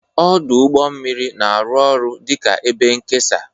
Ọdụ ụgbọ mmiri na-arụ ọrụ dị ka ebe nkesa.